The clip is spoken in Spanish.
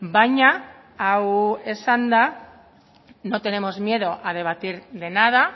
baina hau esanda no tenemos miedo a debatir de nada